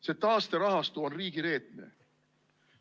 See taasterahastu on riigireetmine.